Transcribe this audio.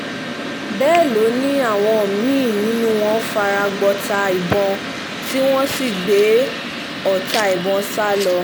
bẹ́ẹ̀ ló ní àwọn mí-ín nínú wọn fara gbọọta ìbọn tí wọ́n sì gbé ọta ìbọn sá lọ